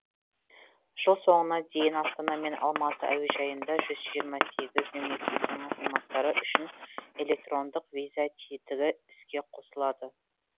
жыл соңына дейін астана мен алматы әуежайында жүз жиырма сегіз мемлекеттің азаматтары үшін электрондық виза тетігі іске қосылады